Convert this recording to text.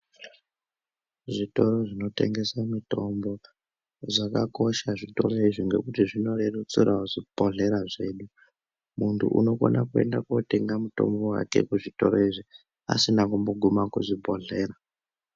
Zvitoro zvinotengese mitombo zvakakosha zvitoro izvi ngekuti zvinorerusirawo zvibhedhlera zvedu. Muntu unokona kutenga mutombo wake kuzvitoro izvi asina kumbogume kuzvibhedhlera.